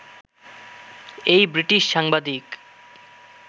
এই ব্রিটিশ সাংবাদিক